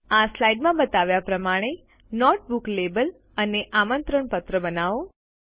આ સ્લાઇડ માં બતાવ્યા પ્રમાણે નોટ બુક લેબલ અને આમંત્રણ પત્ર બનાવો